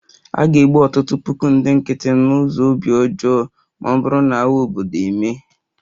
A ga-egbu ọtụtụ puku ndị nkịtị n'ụzọ obi ọjọọ ma ọ bụrụ na agha obodo emee